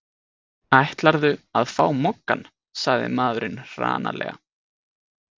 Ætlarðu að fá Moggann? sagði maðurinn hranalega.